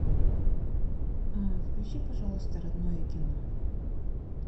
включи пожалуйста родное кино